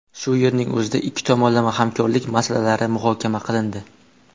Shu yerning o‘zida ikki tomonlama hamkorlik masalalari muhokama qilindi.